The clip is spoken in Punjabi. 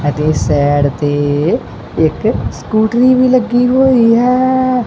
ਅਤੇ ਸੈਡ ਤੇ ਇੱਕ ਸਕੂਟਰੀ ਵੀ ਲੱਗੀ ਹੋਈ ਹੈ।